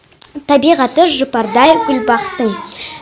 табиғаты жұпардай гүл бақтың